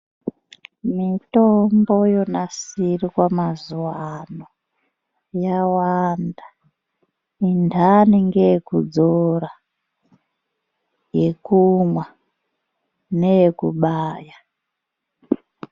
Mutombo yonasirwa mazuwano yawanda. Inhani ngeyekudzora, yekumwa neyekubaya.